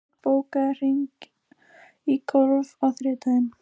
Sigsteinn, bókaðu hring í golf á þriðjudaginn.